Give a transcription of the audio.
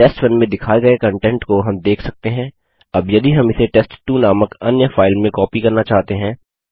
टेस्ट1 में दिखाये गए कन्टेंट को हम देख सकते हैं अब यदि हम इसे टेस्ट2 नामक अन्य फाइल में कॉपी करना चाहते हैं